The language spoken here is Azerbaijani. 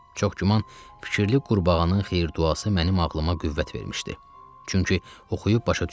Çox güman, fikirli qurbağanın xeyir-duası mənim ağlıma qüvvət vermişdi, çünki oxuyub başa düşürdüm.